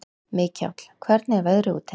Mikjáll, hvernig er veðrið úti?